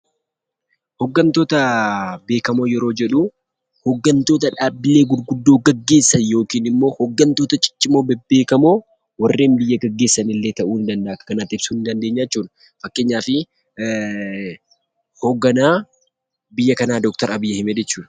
Hoggantoota beekamoo yeroo jedhu hoggantoota dhaabbilee gurguddoo gaggeessan yookinimmoi hoggantoota ciccimoo bebbeekamoo warreen biyya gaggeessanillee akka kanan ibsuu ni dandeenya jechuudha fakkeenyaafi hoogganaa biyya kanaa Abiyyi ahmed jechudha.